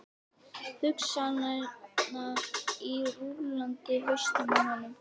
Hugsanirnar rúllandi í hausnum á honum.